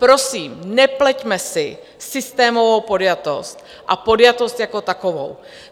Prosím, nepleťme si systémovou podjatost a podjatost jako takovou.